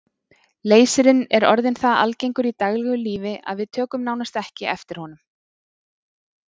Leysirinn er orðinn það algengur í daglegu lífi að við tökum nánast ekki eftir honum.